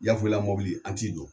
Yafoyila mobili an t'i don.